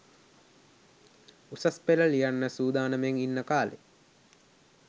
උසස් පෙළ ලියන්න සූදානමින් ඉන්න කා‍ලේ